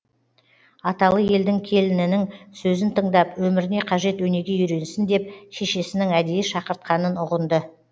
аталы елдің келінінің сөзін тыңдап өміріне қажет өнеге үйренсін деп шешесінің әдейі шақыртқанын ұғынды